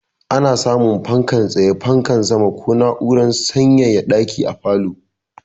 Ana samun fankar tsaye, fankar sama ko na'urar sanyaya ɗaki a falo.